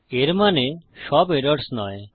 এর মানে সব এরর্স নয়